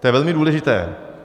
To je velmi důležité.